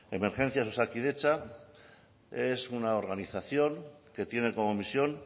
emergencias osakidetza es una organización que tiene como misión